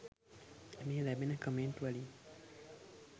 මේ ලැබෙන කමෙන්ට් වලින්.